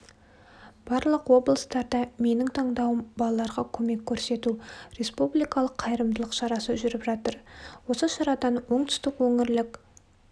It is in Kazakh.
барлық облыстарда менің таңдауым-балаларға көмек көрсету республикалық қайырымдылық шарасы жүріп жатыр осы шарадан оңтүстік өңірлік